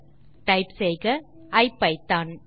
அதற்கு டைப் செய்க ஐபிதான்